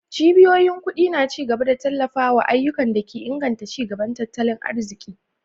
Cibiyoyin kudi na ci gaba da tallafawa ayyukan da ke inganta ci gaban tattalin arziki.